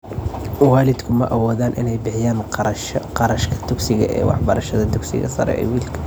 Waalidku ma awoodaan inay bixiyaan kharashka dugsiga ee waxbarashada dugsiga sare ee wiilka.